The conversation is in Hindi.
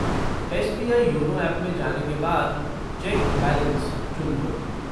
एस.बी.आई. योनो ऐप में जाने के बाद चेक बैलेंस चुन लो।